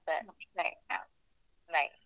ಸರಿ, bye bye, bye.